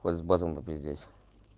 хоть с базом попиздеть